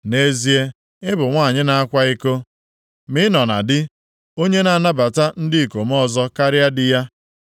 “ ‘Nʼezie, ị bụ nwanyị na-akwa iko ma ị nọ na di, onye na-anabata ndị ikom ọzọ karịa di ya!